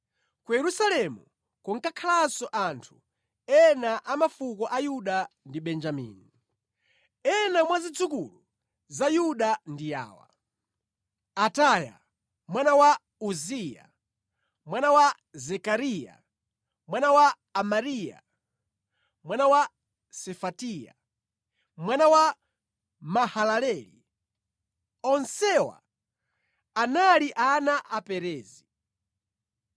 Ku Yerusalemu kunkakhalanso anthu ena a mafuko a Yuda ndi Benjamini. Ena mwa zidzukulu za Yuda ndi awa: Ataya, mwana wa Uziya, mwana wa Zekariya, mwana wa Amariya mwana wa Sefatiya, mwana wa Mahalaleli. Onsewa anali ana a Perezi.